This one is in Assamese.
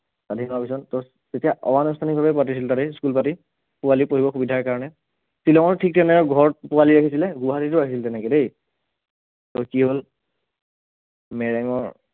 স্ৱাধীন হোৱাৰ পাছত first তেতিয়া অ ~আনুষ্ঠানিক ভাৱে পাতিছিল তাতে school পাতি পোৱালী পঢ়িবৰ সুবিধাৰ কাৰণে শ্ৱিলঙৰ ঠিক তেনেকুৱা ঘৰত পোৱালী আহিছিলে গুৱাহাটীতো আহিল তেনেকে দেই, তাৰপাছত কি হল, মেৰেঙৰ